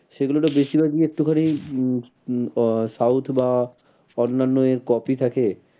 সেগুলোর ও বেশির ভাগই একটু খানি উম উম south বা অন্যান্য এর copy থাকে।